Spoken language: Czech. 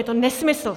Je to nesmysl.